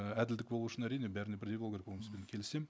і әділдік болу үшін әрине бәріне бірдей болу керек онысымен келісемін